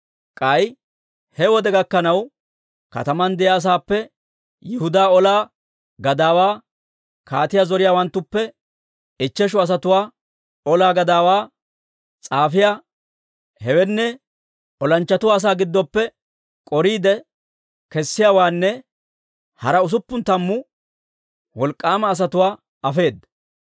K'ay he wode gakkanaw, kataman de'iyaa asaappe Yihudaa olaa gadaawaa, kaatiyaa zoriyaawanttuppe ichcheshu asatuwaa, olaa gadaawaa s'aafiyaa, hewenne olanchchatuwaa asaa giddoppe k'oriide kessiyaawaanne hara usuppun tammu wolk'k'aama asatuwaa afeedda.